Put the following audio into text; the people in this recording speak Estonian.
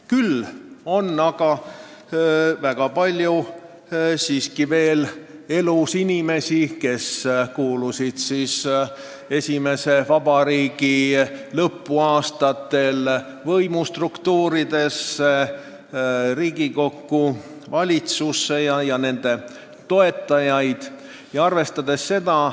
Küll on aga elus väga palju inimesi, kes kuulusid esimese vabariigi lõpuaastatel võimustruktuuridesse, Riigikokku, valitsusse, ja nende toetajaid.